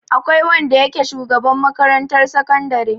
Akwai wanda yake shugaban makarantar sakandare.